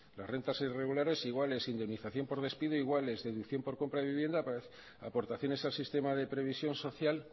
las rentas irregulares iguales indemnización por despido iguales deducción por compra de vivienda aportaciones al sistema de previsión social